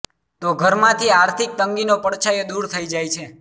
તો ઘર માંથી આર્થિક તંગીનો પડછાયો દુર થઇ જાય છે